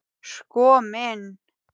Sko minn.